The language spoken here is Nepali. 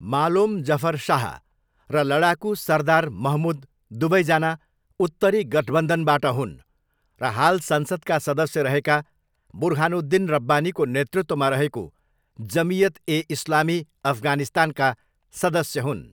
मालोम जफर शाह र लडाकु सरदार महमुद दुवैजना 'उत्तरी गठबन्धन'बाट हुन् र हाल संसदका सदस्य रहेका बुर्हानुद्दिन रब्बानीको नेतृत्वमा रहेको जमियत ए इस्लामी अफगानिस्तानका सदस्य हुन्।